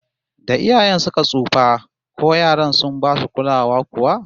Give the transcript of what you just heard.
Da iyayen suka tsufa, ko yaran sun basu kulawa kuwa?